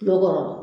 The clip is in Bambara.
Kulo kɔrɔ